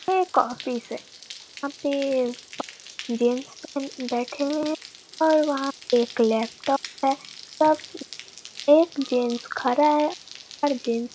ये एक ऑफिस है यहाँ पे पाँच गेट्स बैठे हुए हैं और वहाँ पे एक लैपटॉप है सब एक गेट्स खड़ा है और गेट्स --